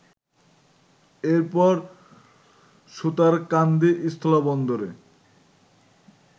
এরপর সুতারকান্দি স্থলবন্দরে